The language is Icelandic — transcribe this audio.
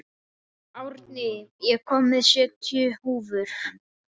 Árný, ég kom með sjötíu húfur!